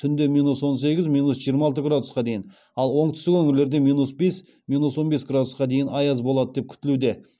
түнде минус он сегіз минус жиырма алты градусқа дейін ал оңтүстік өңірлерде минус бес минус он бес градусқа дейін аяз болады деп күтілуде